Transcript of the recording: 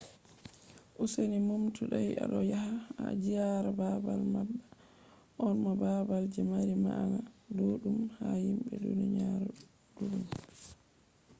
useni numtu dai aɗo yaha ziyara babal manga on, bo babal je mari ma'ana ɗuɗɗum ha himɓe duniyaru ɗuɗɗum